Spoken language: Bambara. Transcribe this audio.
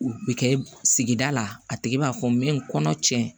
U bɛ kɛ sigida la a tigi b'a fɔ min kɔnɔ cɛn